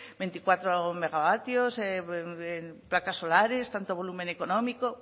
veinticuatro megavatios placas solares tanto volumen económico